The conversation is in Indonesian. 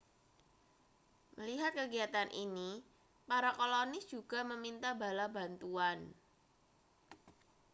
melihat kegiatan ini para kolonis juga meminta bala bantuan